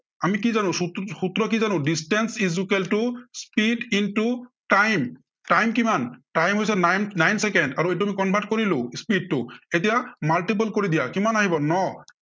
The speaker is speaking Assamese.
আমি কি জানো, সব~সূত্ৰ কি জানো। distance equal to speed into time, time কিমান, time হৈছে nine, nine চেকেণ্ড আৰু এইটো convert কৰিলো speed টো। এতিয়া multiple কৰি দিয়া, কিমান আহিব ন'